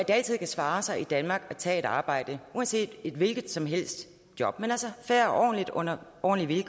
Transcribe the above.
altid kan svare sig i danmark at tage et arbejde et hvilket som helst job men altså fair og ordentligt under ordentlige